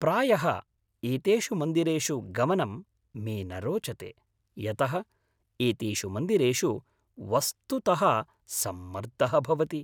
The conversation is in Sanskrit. प्रायः एतेषु मन्दिरेषु गमनं मे न रोचते यतः एतेषु मन्दिरेषु वस्तुतः सम्मर्दः भवति।